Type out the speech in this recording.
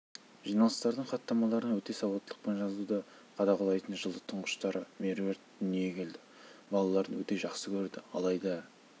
жиналыстардың хаттамаларын өте сауаттылықпен жазуды қадағалайтын жылы тұңғыштары меруерт дүниеге келді балаларын өте жақсы көрді алайда